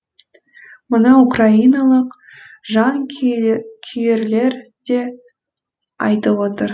мұны украиналық жанкүйерлер де айтып отыр